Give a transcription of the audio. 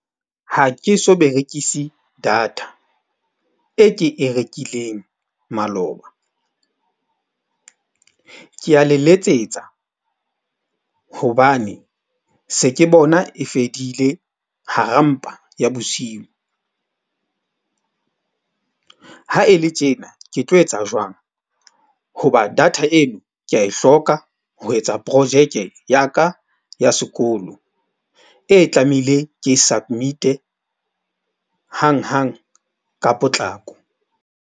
Ha ke so berekise data e ke e rekileng maloba. Ke a le letsetsa hobane se ke bona e fedile hara mpa ya bosiu. Ha e le tjena ke tlo etsa jwang hoba data eno ke a e hloka ho etsa projeke ya ka ya sekolo, e tlamehile ke submit-e hanghang ka potlako.